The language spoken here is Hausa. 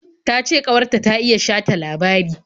Ta ce ƙawar ta ta iya shata labari.